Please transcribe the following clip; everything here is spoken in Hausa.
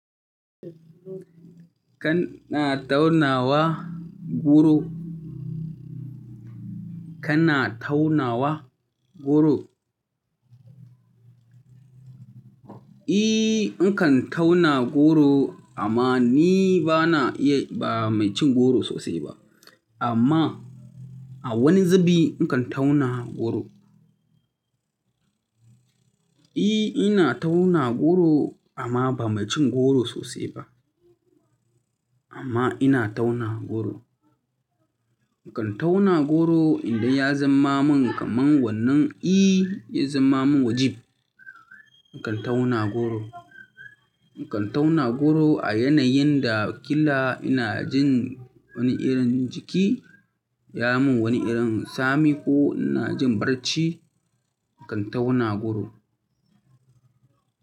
Kana taunawa goro? Kana taunawa goro? E, nakan tauna goro amma ni bana iya ba mai cin goro sosai ba. Amma a wani zubi nakan tauna goro. E, ina tauna goro amma ba mai cin goro sosai ba. Amma ina tauna goro. Nakan tauna goro idan ya zama min kamar wannan, e, ya zama min wajib. Nakan tauna goro. Nakan tauna goro a yanayin da ƙila ina jin wani irin jiki, ya mun wani irin tsami ko ina jin barci, nakan tauna goro.